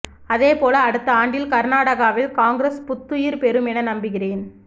அதேபோல் அடுத்த ஆண்டில் கர்நாடகாவில் காங்கிரஸ் புத்துயிர் பெறும் என நம்புகிறேன்